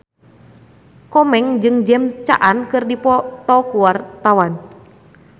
Komeng jeung James Caan keur dipoto ku wartawan